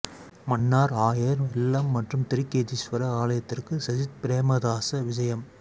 மன்னார் ஆயர் இல்லம் மற்றும் திருக்கேதீஸ்வர ஆலயத்திற்கு சஜித் பிரேமதாச விஜயம்